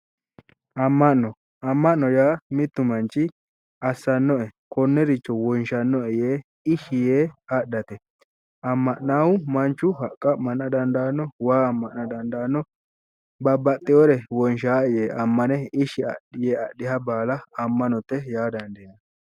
Amma'no amma'no yaa mittu manchi assanno"e konneeircho wonshanno"e yee adhate amma'naahu Manchu haqqa ammana dandaanno waa amma'na dandaanno babbaxxeyoore wonshaa"e ishshi yee adhiha baala ammanote yaa dandaaninanni